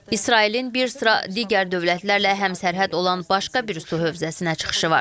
İsrailin bir sıra digər dövlətlərlə həmsərhəd olan başqa bir su hövzəsinə çıxışı var.